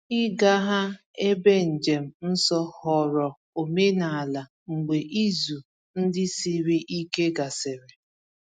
Ịga ha ebe njem nsọ ghọrọ omenala mgbe izu ndị siri ike gasịrị.